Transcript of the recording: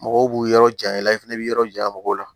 Mɔgɔw b'u yɔrɔ janya i la i fɛnɛ bi yɔrɔ jan mɔgɔw la